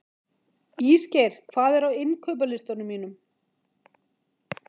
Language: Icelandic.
Ísgeir, hvað er á innkaupalistanum mínum?